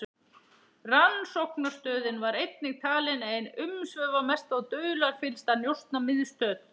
Rannsóknarstöðin var einnig talin ein umsvifamesta og dularfyllsta njósnamiðstöð